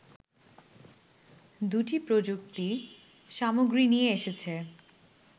দুটি প্রযুক্তি সামগ্রী নিয়ে এসেছে